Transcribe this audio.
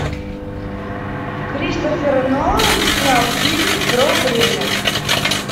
кристофер нолан снял фильм про время